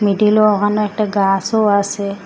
মিডিলো ওখানো একটা গাসও আসে ।